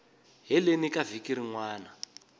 heleni ka vhiki rin wana